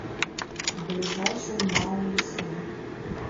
ближайший мау лесной